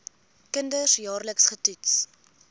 kinders jaarliks getoets